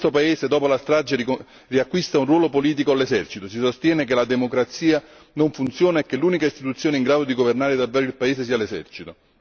In questo paese, dopo la strage, riacquista un ruolo politico l'esercito, si sostiene che la democrazia non funziona e che l'unica istituzione in grado di governare davvero il paese sia l'esercito.